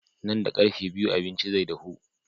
Nan da ƙarfe biyu abincin zai dahu.